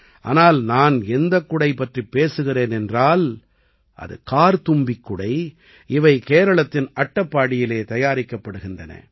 ஆனால் நான் எந்தக் குடை பற்றிப் பேசுகிறேன் என்றால் அது கார்த்தும்பிக் குடை இவை கேரளத்தின் அட்டப்பாடியிலே தயாரிக்கப்படுகின்றன